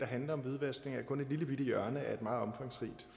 handler om hvidvaskning er kun et lillebitte hjørne af et meget omfangsrigt